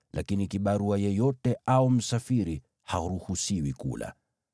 lakini kibarua yeyote au msafiri haruhusiwi kula.